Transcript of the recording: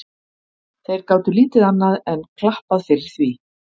Þeir gátu lítið annað enn klappað fyrir því.